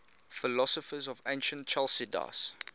philosophers of ancient chalcidice